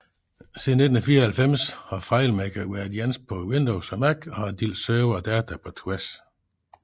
Siden 1994 har FileMaker været ens på Windows og Mac og har delt server og data på tværs